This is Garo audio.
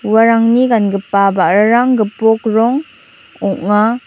uarangni gan·gipa ba·rarang gipok rong ong·a.